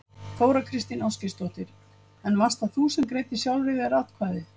Þóra Kristín Ásgeirsdóttir: En varst það þú sem að greiddir sjálfri þér atkvæði?